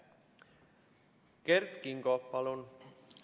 Kert Kingo, palun!